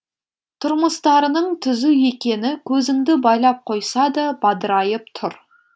тұрмыстарының түзу екені көзіңді байлап қойса да бадырайып тұр